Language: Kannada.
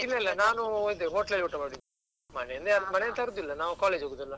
ಇಲ್ಲ ಇಲ್ಲ ನಾನು ಅದೇ hotel ಅಲ್ಲಿ ಊಟ ಮಾಡಿದ್ದು ಮನೆಯಿಂದ ಯಾರ್ ಮನೆಯಿಂದ ತರುದಿಲ್ಲ ನಾವು college ಗೆ ಹೋಗುದಲ್ವಾ.